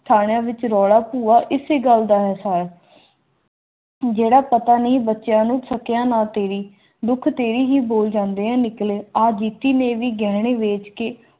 ਥਾਣਿਆਂ ਵਿੱਚ ਰੋੜਾ ਹੂਆ ਇਸ ਗੱਲ ਦਾ ਅਹਿਸਾਸ ਜਿਹੜਾ ਪਤਾ ਨਹੀਂ ਬੱਚਿਆਂ ਨੂੰ ਸਕਿਆ ਨਾ ਤੇਰੀ ਥੀਂ